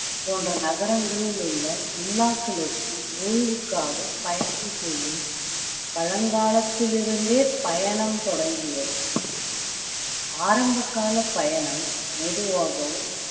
போன்ற நகரங்களில் உள்ள villa க்களுக்கு ஓய்வுக்காக பயணம் செய்யும் பழங்காலத்திலிருந்தே பயணம் தொடங்கியது ஆரம்ப கால பயணம் மெதுவாகவும்